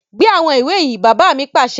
Gbé àwọn ìwé yìí! Bàbá mi pàṣẹ